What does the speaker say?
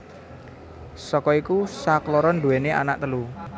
Saka iku sakloron nduwèni anak telu